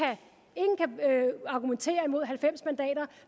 argumentere imod halvfems mandater